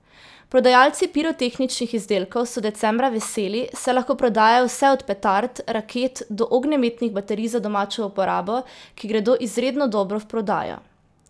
Prodajalci pirotehničnih izdelkov so decembra veseli, saj lahko prodajajo vse od petard, raket do ognjemetnih baterij za domačo uporabo, ki gredo izredno dobro v prodajo.